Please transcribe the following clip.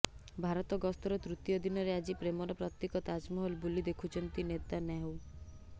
ଭାରତ ଗସ୍ତର ତୃତୀୟ ଦିନରେ ଆଜି ପ୍ରେମର ପ୍ରତୀକ ତାଜମହଲ ବୁଲି ଦେଖିଛନ୍ତି ନେତାନ୍ୟାହୁ